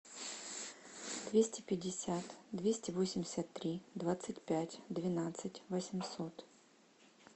двести пятьдесят двести восемьдесят три двадцать пять двенадцать восемьсот